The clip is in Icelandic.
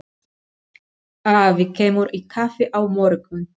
Afi kemur í kaffi á morgun.